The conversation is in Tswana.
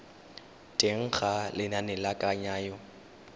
teng ga lenane la kananyo